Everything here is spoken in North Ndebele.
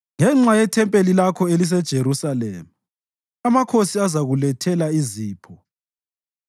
Ngenxa yethempeli lakho eliseJerusalema amakhosi azakulethela izipho.